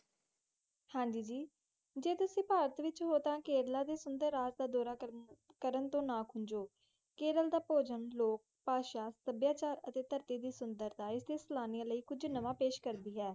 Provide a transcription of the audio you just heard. ਹਨਜੀ, ਜੇ ਤੁਸੀ ਪਾਰਟੀ ਵਿਚ ਹੋ ਤਾ ਕੇਰਲ ਸੁੰਦਰ ਰਾਜ ਕਰਨ ਦਾ ਡੋਰਾ ਕਰਨ ਤੋਂ ਨਾ ਕੂੰਜੋ ਕੇਰਲ ਦਾ ਲੋਕ, ਖਾਣਾ, ਪਾਸਾ, ਸੁਬਾ ਚਾਰ ਅਤੇ ਤਾਰਤੀ ਸੁਦਰਤਾ ਸਾਲਾਨਾ ਲਾਇ ਕੁਜ ਸੁੰਦਰ ਪੈਸਾ ਕਰਦੀ ਹੈ